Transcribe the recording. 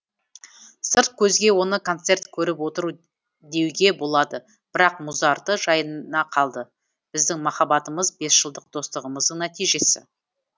сырт көзге оны концерт көріп отыр деуге болады бірақ музарты жайына қалды біздің махаббатымыз бес жылдық достығымыздың нәтижесі